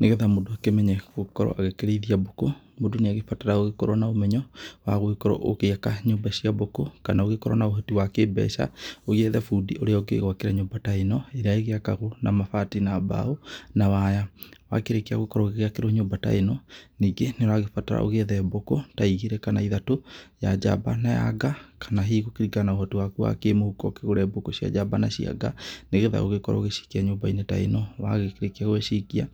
Nĩgetha mũndũ akĩmenye gũkorwo agĩkĩrĩithia mbũkũ, mũndũ nĩ agĩbataraga gũgĩkorwo na ũmenyo wa gũgĩkorwo ũgĩaka nyũmba cia mbũkũ, kana ũgĩkorwo na ũhoti wa kĩmbeca, ũgĩethe bundi ũrĩa ũgĩgwakĩra nyũmba ta ĩno, ĩrĩa ĩgĩakagwo na mabati, na mbao, na waya. Wakĩrĩkia gũkorwo ũgĩgĩakĩrwo nyũmba ta ĩno, nĩngĩ nĩ ũragĩbatara ũgĩethe bũkũ ta igĩrĩ, kana ithatũ. Ya njamba na ya nga, kana hihi gũkĩringana na ũhoti waku wa kĩmũhuko ũkĩgũre bũkũ cia njamba, na cia nga nĩgetha ũgĩkorwo ũgĩcikia nyũmba-inĩ ta ĩno. Wagĩkĩrĩkia gũgĩcikia,